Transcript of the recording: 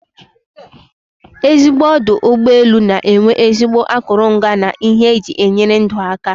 Ezigbo ọdụ ụgbọelụ na enwe ezigbo akụrụngwa na ihe eji enyere ndụ aka